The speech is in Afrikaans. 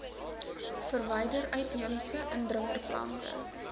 verwyder uitheemse indringerplante